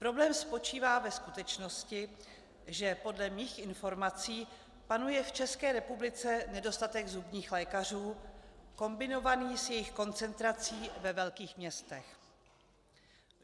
Problém spočívá ve skutečnosti, že podle mých informací panuje v České republice nedostatek zubních lékařů kombinovaný s jejich koncentrací ve velkých městech.